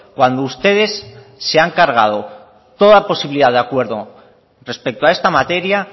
cuando ustedes se han cargado toda posibilidad de acuerdo respecto a esta materia